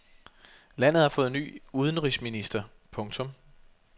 Landet har fået ny udenrigsminister. punktum